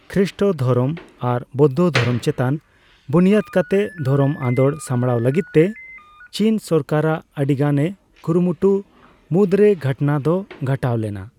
ᱠᱷᱨᱤᱥᱴᱚ ᱫᱷᱚᱨᱚᱢ ᱟᱨ ᱵᱳᱫᱽᱫᱷᱚ ᱫᱷᱚᱨᱚᱢ ᱪᱮᱛᱟᱱ ᱵᱩᱱᱤᱭᱟᱹᱫᱽ ᱠᱟᱛᱮ ᱫᱷᱚᱨᱚᱢ ᱟᱫᱳᱲ ᱥᱟᱢᱵᱽᱲᱟᱣ ᱞᱟᱹᱜᱤᱫᱛᱮ ᱪᱤᱱ ᱥᱚᱨᱠᱟᱨᱟᱜ ᱟᱹᱰᱤᱜᱟᱱ ᱮ ᱠᱩᱨᱩᱢᱩᱴᱩ ᱢᱩᱫᱨᱮ ᱜᱷᱚᱴᱚᱱᱟ ᱫᱚ ᱜᱷᱚᱴᱟᱣ ᱞᱮᱱᱟ ᱾